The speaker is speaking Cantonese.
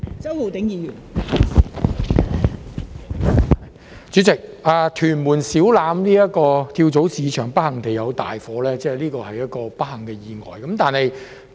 代理主席，屯門小欖跳蚤市場不幸發生大火，這是一個不幸的意外。